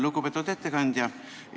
Lugupeetud ettekandja!